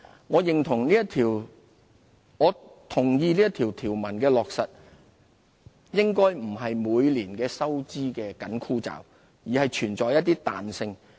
我同意這條文的落實應不是每年收支的緊箍咒，而是存在一些彈性。